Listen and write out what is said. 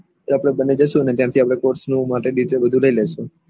આપળે બન્ને જઈશું અને ત્યાં થી કોર્ષ નું માટે ડીતો બધું લય લેશું